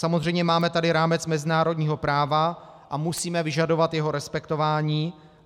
Samozřejmě tady máme rámec mezinárodního práva a musíme vyžadovat jeho respektování.